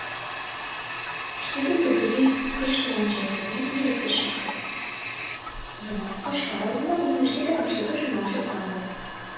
іштегі бір дүлей күш туған жерлеріне еріксіз шақырды демалысқа шығар алдында университет әкімшілгі жиналыс жасаған болатын